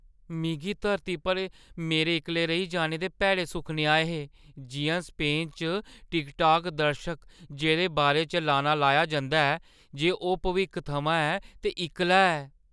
मिगी धरती पर मेरे इक्कले रेही जाने दे भैड़े सुखने आए हे जिʼयां स्पेन च टिकटॉक दर्शक जेह्दे बारे च लाना लाया जंदा ऐ जे ओह् भविक्ख थमां ऐ ते इक्कला ऐ।